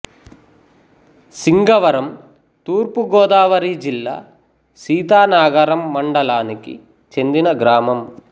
సింగవరం తూర్పు గోదావరి జిల్లా సీతానగరం మండలానికి చెందిన గ్రామం